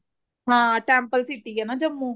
ਹਾਂ temple city ਐ ਨਾ ਜੰਮੂ